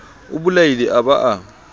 o bolaile a ba a